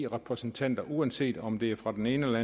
repræsentanter uanset om det er fra den ene eller